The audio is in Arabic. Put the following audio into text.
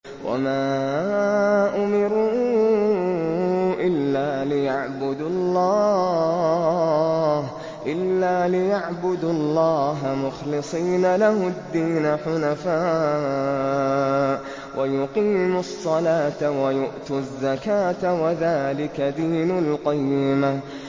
وَمَا أُمِرُوا إِلَّا لِيَعْبُدُوا اللَّهَ مُخْلِصِينَ لَهُ الدِّينَ حُنَفَاءَ وَيُقِيمُوا الصَّلَاةَ وَيُؤْتُوا الزَّكَاةَ ۚ وَذَٰلِكَ دِينُ الْقَيِّمَةِ